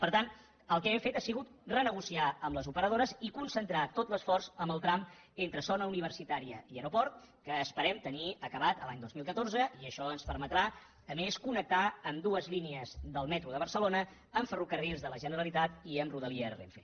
per tant el que hem fet ha sigut renegociar amb les operadores i concentrar tot l’esforç en el tram entre zona universitària i aeroport que esperem tenir acabat l’any dos mil catorze i això ens permetrà a més connectar amb dues línies del metro de barcelona amb ferrocarrils de la generalitat i amb rodalies renfe